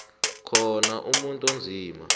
khona umuntu onzima